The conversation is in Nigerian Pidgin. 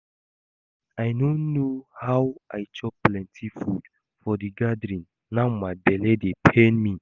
I no know how I chop plenty food for the gathering now my bele dey pain me